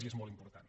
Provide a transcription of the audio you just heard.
i és molt important